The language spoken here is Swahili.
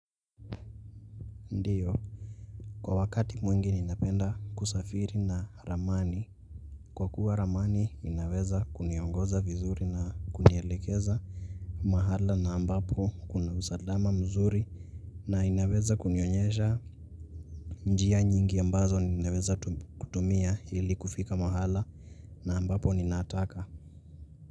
Ndiyo kwa wakati mwingi ninapenda kusafiri na ramani kwa kuwa ramani inaweza kuniongoza vizuri na kunielekeza mahala ambapo kuna usalama mzuri na inaweza kunionyesha njia nyingi ambazo ninaweza kutumia ili kufika mahala na ambapo ninataka.